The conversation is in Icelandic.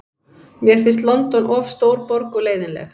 Mér finnst London of stór borg og leiðinleg.